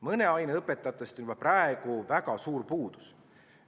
Mõne aine õpetajatest on juba praegu väga suur puudus.